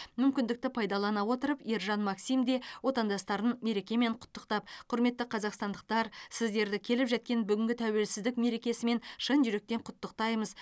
мүмкіндікті пайдалана отырып ержан максим де отандастарын мерекемен құттықтап құрметті қазақстандықтар сіздерді келіп жеткен бүгінгі тәуелсіздік мерекесімен шын жүректен құттықтаймыз